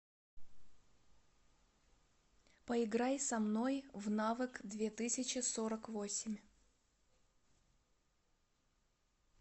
поиграй со мной в навык две тысячи сорок восемь